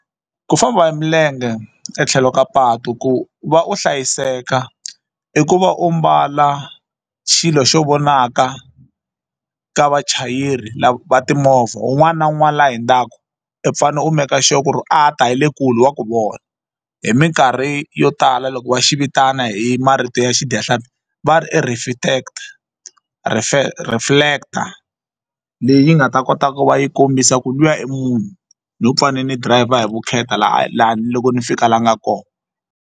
Ku famba hi milenge etlhelo ka patu ku va u hlayiseka i ku va u mbala xilo xo vonaka ka vachayeri va timovha un'wana na un'wana la hindzaku u fanele u make sure ku ri a ha ta hi le kule wa ku vona hi minkarhi yo tala loko va xivitana hi marito ya xidyahlampfi va ri i reflector leyi nga ta kota ku va yi kombisa ku luya munhu nho fane ni dirayivha hi vukheta laha laha ni loko ni fika la a nga kona.